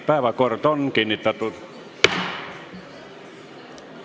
Päevakord on kinnitatud.